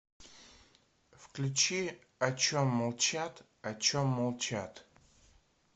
включи о чем молчат о чем молчат